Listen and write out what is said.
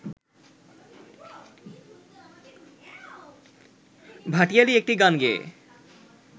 ভাটিয়ালি একটি গান গেয়ে